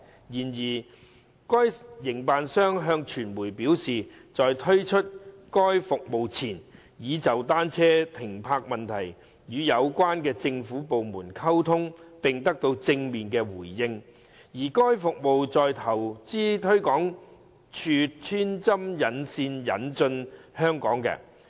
然而，該營辦商向傳媒表示，在推出該服務前，已就單車停泊問題與有關的政府部門溝通並得到正面回應，而該服務是由投資推廣署穿針引線引進香港的。